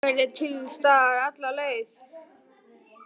Ég vona að ég verði til staðar alla leið.